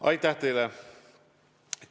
Aitäh teile!